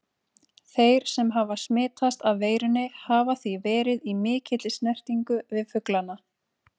Þeir sem hafa smitast af veirunni hafa því verið í mikilli snertingu við fuglana.